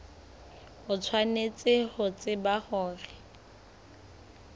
o tshwanetse ho tseba hore